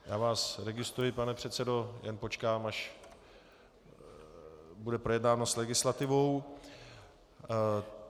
Já vás registruji, pane předsedo, jen počkám, až bude projednáno s legislativou.